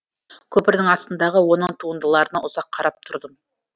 көпірдің астындағы оның туындыларына ұзақ қарап тұрдым